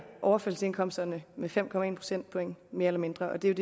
overførselsindkomsterne med fem procentpoint mere eller mindre og det er